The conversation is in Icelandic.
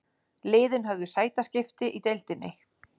Liðin höfðu sætaskipti í deildinni